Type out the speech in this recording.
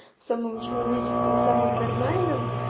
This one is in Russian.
в самом человеческом в самом нормальном